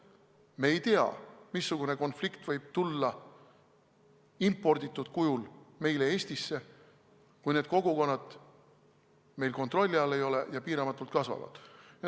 Me ei tea, missugune konflikt võib tulla imporditud kujul meile Eestisse, kui need kogukonnad meil kontrolli all ei ole ja piiramatult kasvavad.